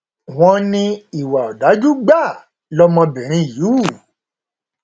wọn ní ìwà ọdájú gbáà lọmọbìnrin yìí hù